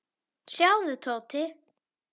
Sjáðu, Tóti.